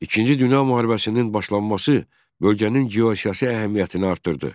İkinci Dünya müharibəsinin başlaması bölgənin geosiyasi əhəmiyyətini artırdı.